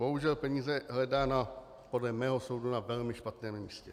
Bohužel peníze hledá podle mého soudu na velmi špatném místě.